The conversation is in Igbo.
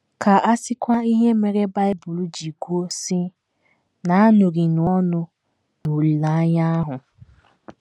Ka a sịkwa ihe mere Bible ji kwuo, sị: “ Na - aṅụrịnụ ọṅụ n’olileanya ahụ. ”